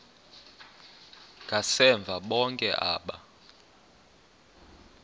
ngasemva bonke aba